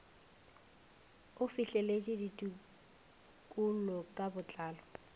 o fihleletše ditekolo ka botlalo